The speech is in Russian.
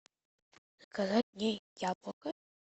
заказать мне яблоко